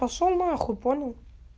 пошёл на хуй понял